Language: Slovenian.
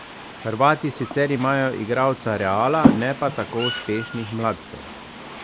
Hrvati sicer imajo igralca Reala, ne pa tako uspešnih mladcev.